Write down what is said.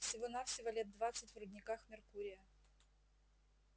всего-навсего лет двадцать в рудниках меркурия